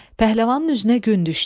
Pəhləvanın üzünə gün düşdü.